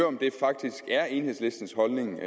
er det faktisk enhedslistens holdning